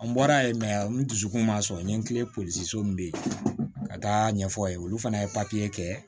An bɔra yen n dusukun man sɔn n ye n kilen polisi min bɛ yen ka taa ɲɛfɔ a ye olu fana ye papiye kɛ